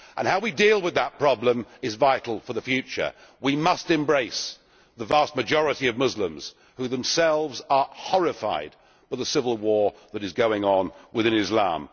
How we deal with that problem is vital for the future. We must embrace the vast majority of Muslims, who themselves are horrified at the civil war that is going on within Islam.